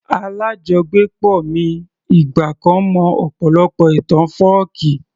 Alájọgbépọ̀ mi ìgbà kan mọ ọ̀pọ̀lọpọ̀ ìtàn fọ́ọ̀kí